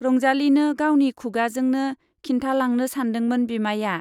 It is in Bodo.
रंजालीनो गावनि खुगाजोंनो खिन्थालांनो सानदोंमोन बिमाइया।